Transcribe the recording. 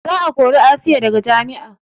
Za a kori asiya daga jami'a